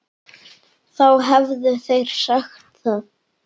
Þá hefðu þeir sagt það.